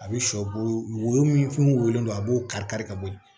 A bɛ shɔ wo woyo min fɛn min wo wolen don a b'o kari-kari ka bɔ yen